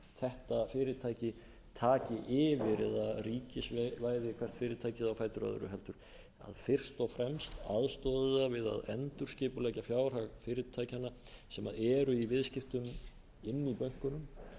þetta fyrirtæki taki yfir eða ríkisvæði hvert fyrirtækið á fætur öðru heldur fyrst og fremst aðstoði það við að endurskipuleggja fjárhag fyrirtækjanna sem eru í viðskiptum inni í bönkunum